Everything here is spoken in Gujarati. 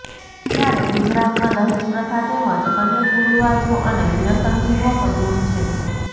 જયારે ગુજરાતમાં દહેજ પ્રથા તેમજ અન્ય કુરિવાજો અને વ્યસનથી યુવકો દુર છે